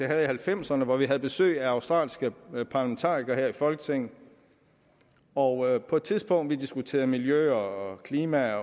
halvfemserne hvor vi havde besøg af australske parlamentarikere her i folketinget og på et tidspunkt hvor vi diskuterede miljø og klima